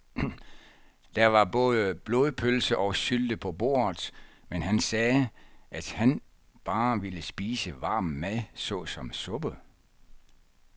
Der var både blodpølse og sylte på bordet, men han sagde, at han bare ville spise varm mad såsom suppe.